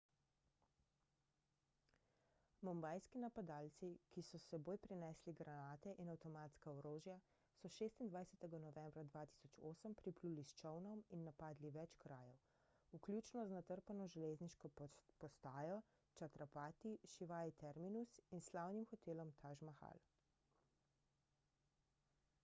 mumbajski napadalci ki so s seboj prinesli granate in avtomatska orožja so 26 novembra 2008 pripluli s čolnom in napadli več krajev vključno z natrpano železniško postajo chhatrapati shivaji terminus in slavnim hotelom taj mahal